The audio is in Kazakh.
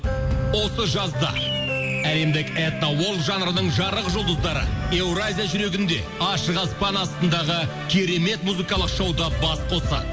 осы жазда әлемдік этно уорд жанрының жарық жұлдыздары еуразия жүрегінде ашық аспан астындағы керемет музыкалық шоуда бас қосады